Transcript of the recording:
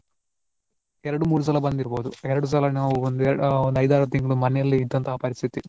ಎರಡು ಮೂರು ಸಲ ಬಂದಿರಬಹುದು ಎರಡು ಸಲ ನಾವು ಒಂದು ನಾವು ಆ ಐದ್ ಆರು ತಿಂಗಳು ಮನೆಯಲ್ಲಿಯೇ ಇದ್ದಂತ ಪರಿಸ್ಥಿತಿ.